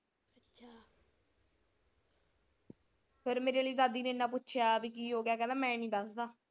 ਫਿਰ ਮੇਰੇ ਲਈ ਦਾਦੀ ਨੇ ਏਨਾ ਪੁੱਛਿਆ ਬੀ ਕੀ ਹੋਗਿਆ ਕਹਿੰਦਾ ਮੈਂ ਨਹੀਂ ਦੱਸਦਾ।